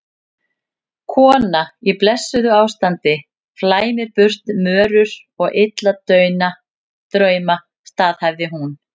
Kona í blessuðu ástandi flæmir burt mörur og illa drauma, staðhæfði hún.